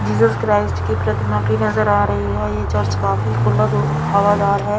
प्रतिमा भी नजर आ रही है ये चर्च काफी खुल्द और हवादार है।